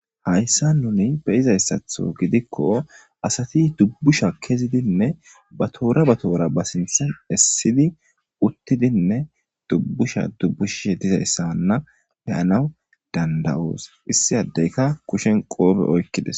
hayssa nuni beyizayssatho gidikko asati dubbusha kezidinne ba toora ba toora ba sintsen essidi uttidinne dubbusha dubbushih dizayssanna peyanaw dandawoos issi addeyka kushen qoobe oykkides